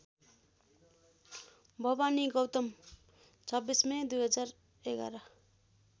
Bhawani Gautam २६ May २०११